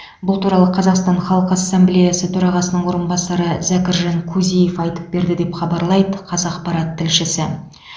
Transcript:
бұл туралы қазақстан халқы ассамблеясы төрағасының орынбасары зәкіржан кузиев айтып берді деп хабарлайды қазапарат тілшісі